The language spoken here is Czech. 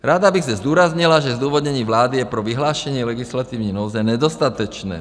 Ráda bych zde zdůraznila, že zdůvodnění vlády je pro vyhlášení legislativní nouze nedostatečné.